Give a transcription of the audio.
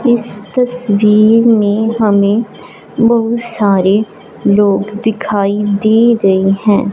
इस तस्वीर में हमें बहुत सारे लोग दिखाई दे रहें हैं।